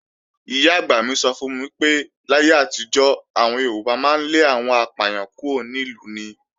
Ìyá-àgbà mi sọ fún mi pé, láyé àtijọ́, àwọn Yorùbá máa ń lé àwọn apàyàn kúrò ní ìlú ni.